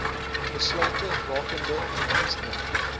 besluite rakende indiensneming